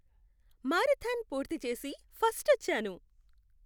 Marathon పూర్తి చేసి, first వచ్చాను.